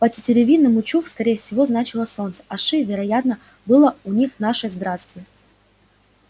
по-тетеревиному чуф скорее всего значило солнце а ши вероятно было у них наше здравствуй